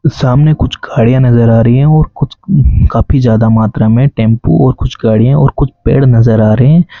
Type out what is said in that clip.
सामने कुछ खाड़ियां नजर आ रही हैं और कुछ काफी ज्यादा मात्रा में टेंपू और कुछ गाड़ियां और कुछ पेड़ नजर आ रहे हैं।